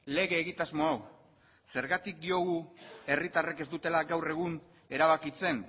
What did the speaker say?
lege egitasmo hau zergatik diogu herritarrek ez dutela gaur egun erabakitzen